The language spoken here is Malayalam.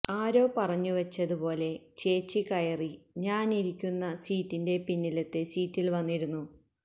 ആരോ പറഞ്ഞു വച്ചത് പോലേ ചേച്ചി കയറി ഞാൻ ഇരിക്കുന്ന സീറ്റിൻ്റേ പിന്നിലത്തെ സീറ്റിൽ വന്നിരുന്നു